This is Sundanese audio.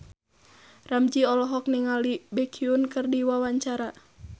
Ramzy olohok ningali Baekhyun keur diwawancara